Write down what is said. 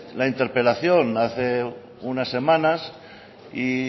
la interpelación hace unas semanas